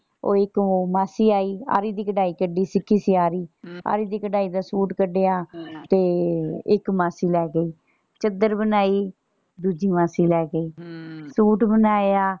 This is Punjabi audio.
ਉਹ ਇੱਕ ਹੋਰ ਮਾਸੀ ਆਈ ਆਰੀ ਦੀ ਕਢਾਈ ਕੱਢਣੀ ਸਿੱਖੀ ਸੀ ਆਰੀ ਆਰੀ ਦੀ ਕਢਾਈ ਦਾ ਸੂਟ ਕੱਡਿਆ ਤੇ ਇੱਕ ਮਾਸੀ ਲੈ ਗਈ ਚੱਦਰ ਬਣਾਈ ਦੂਸ ਮਾਸੀ ਲੈ ਗਈ ਹਮ ਸੂਟ ਬਣਾਇਆ।